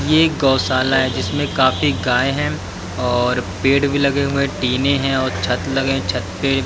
ये गौशाला है जिसमें काफी गाय हैं और पेड़ भी लगे हुए हैं टीने हैं और छत लगे छत पे।